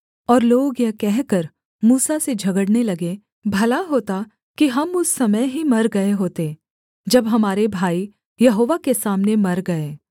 और लोग यह कहकर मूसा से झगड़ने लगे भला होता कि हम उस समय ही मर गए होते जब हमारे भाई यहोवा के सामने मर गए